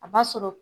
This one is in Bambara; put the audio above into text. A b'a sɔrɔ